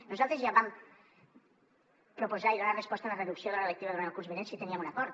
nosaltres ja vam proposar i donar resposta a la reducció de l’hora lectiva durant el curs vinent si teníem un acord